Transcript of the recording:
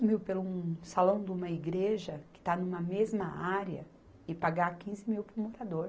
mil pelo um salão de uma igreja, que está numa mesma área, e pagar quinze mil para o morador.